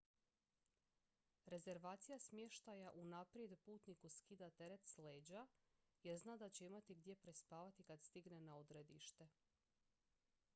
rezervacija smještaja unaprijed putniku skida teret s leđa jer zna da će imati gdje prespavati kad stigne na odredište